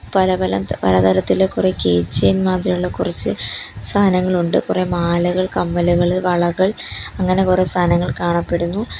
പല പല ത പല തരത്തിലെ കുറെ കീ ചെയിൻ മാതിരിയുള്ള കുറച്ച് സാധനങ്ങളുണ്ട് കുറെ മാലകൾ കമ്മലുകള് വളകൾ അങ്ങനെ കുറെ സാധനങ്ങൾ കാണപ്പെടുന്നു.